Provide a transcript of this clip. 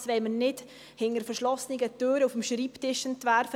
Dieses wollen wir nicht hinter verschlossenen Türen am Schreibtisch entwerfen.